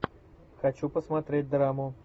хочу посмотреть драму